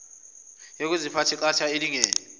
yokuziphatha eqatha elingene